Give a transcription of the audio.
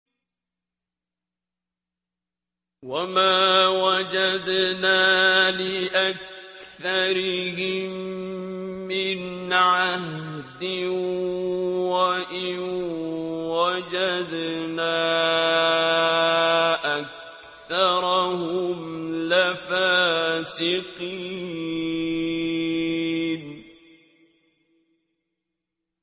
وَمَا وَجَدْنَا لِأَكْثَرِهِم مِّنْ عَهْدٍ ۖ وَإِن وَجَدْنَا أَكْثَرَهُمْ لَفَاسِقِينَ